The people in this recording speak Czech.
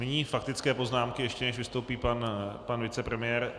Nyní faktické poznámky, ještě než vystoupí pan vicepremiér.